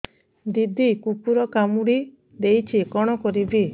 ଦିଦି କୁକୁର କାମୁଡି ଦେଇଛି କଣ କରିବି